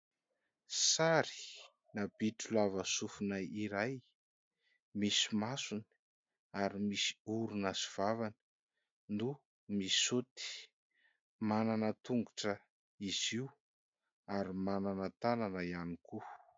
Sary bitro lava sofina iray misy masony ary misy orona sy vava no misaoty, manana tongotra izy io ary manana tanana ihany koa.